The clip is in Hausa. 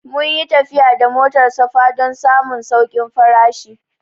Mun yi tafiya da motar safa don samun saukin farashi